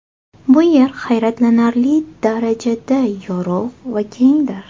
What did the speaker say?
Bu yer hayratlanarli darajada yorug‘ va kengdir.